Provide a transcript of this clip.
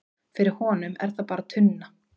fyrir honum er það bara tunna